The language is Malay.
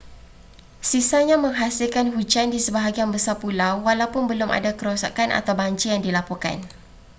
sisanya menghasilkan hujan di sebahagian besar pulau walaupun belum ada kerosakan atau banjir yang dilaporkan